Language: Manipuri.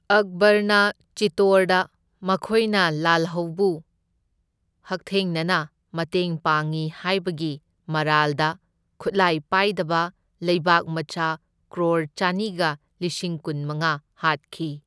ꯑꯛꯕꯔꯅ ꯆꯤꯇꯣꯔꯗ ꯃꯈꯣꯏꯅ ꯂꯥꯜꯍꯧꯕꯨ ꯍꯛꯊꯦꯡꯅꯅ ꯃꯇꯦꯡ ꯄꯥꯡꯏ ꯍꯥꯏꯕꯒꯤ ꯃꯔꯥꯜꯗ ꯈꯨꯠꯂꯥꯏ ꯄꯥꯏꯗꯕ ꯂꯩꯕꯥꯛ ꯃꯆꯥ ꯀ꯭ꯔꯣꯔ ꯆꯅꯤꯒ ꯂꯤꯁꯤꯡ ꯀꯨꯟꯃꯉꯥ ꯍꯥꯠꯈꯤ꯫